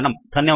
धन्यवादः